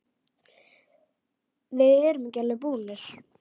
Við erum ekki alveg búnir.